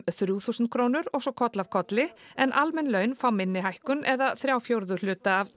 þrjú þúsund krónur og svo koll af kolli en almenn laun fá minni hækkun eða þrjá fjórðu hluta af